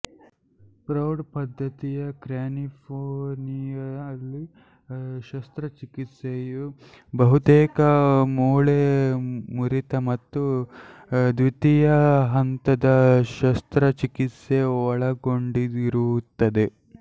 ಪ್ರೌಢ ಪದ್ದತಿಯ ಕ್ರ್ಯಾನಿಯೊಫೇಸಿಯಲ್ ಶಸ್ತ್ರಚಿಕಿತ್ಸೆಯು ಬಹುತೇಕ ಮೂಳೆ ಮುರಿತ ಮತ್ತು ದ್ವೀತಿಯ ಹಂತದ ಶಸ್ತ್ರಚಿಕಿತ್ಸೆ ಒಳಗೊಂಡಿರುತ್ತದೆ